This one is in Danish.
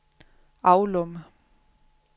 Avlum